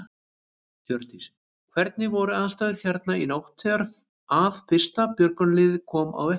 Hjördís: Hvernig voru aðstæður hérna í nótt þegar að fyrsta björgunarlið kom á vettvang?